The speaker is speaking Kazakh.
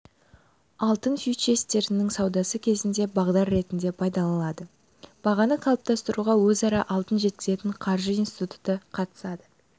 алтын фьючерстерінің саудасы кезінде бағдар ретінде пайдаланылады бағаны қалыптастыруға өзара алтын жеткізетін қаржы институты қатысады